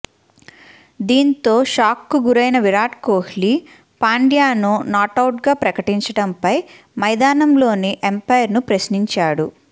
దీంతో షాక్కు గురైన విరాట్ కోహ్లీ పాండ్యాను నాటౌట్గా ప్రకటించడంపై మైదానంలోని అంపైర్ను ప్రశ్నించాడు